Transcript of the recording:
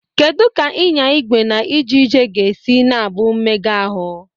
Kedu ka ịnya igwe na ije ije ga-esi na-abụ mmega ahụ?